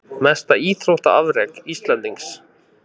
Mesta íþróttaafrek Íslendings?